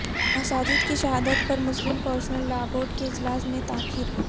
مساجد کی شہادت پر مسلم پرسنل لا بورڈ کے اجلاس میں تاخیر